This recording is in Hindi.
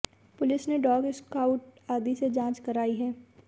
पुलिस ने डॉग स्क्वाउड आदि से जांच कराई है